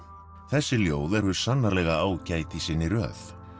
þessi ljóð eru sannarlega ágæt í sinni röð